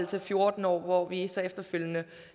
til fjorten år hvor vi så efterfølgende